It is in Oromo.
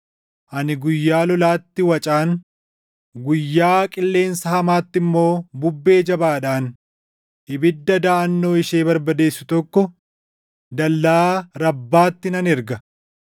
ani guyyaa lolaatti wacaan, guyyaa qilleensa hamaatti immoo bubbee jabaadhaan ibidda daʼannoo ishee barbadeessu tokko dallaa Rabbaatti nan erga.